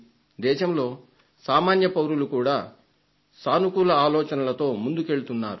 దేశంలో సామాన్య పౌరులు కూడా సానుకూల ఆలోచనలతో ముందుకెళ్తున్నారు